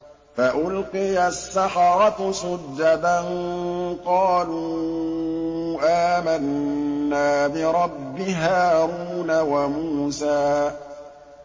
فَأُلْقِيَ السَّحَرَةُ سُجَّدًا قَالُوا آمَنَّا بِرَبِّ هَارُونَ وَمُوسَىٰ